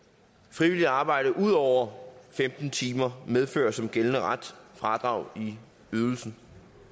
frivilligt arbejde ud over femten timer medfører som gældende ret fradrag i ydelsen